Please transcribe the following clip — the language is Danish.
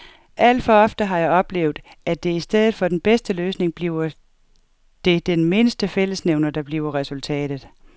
Alt for ofte har jeg oplevet, at i stedet for den bedste løsning bliver det den mindste fællesnævner, der bliver resultatet.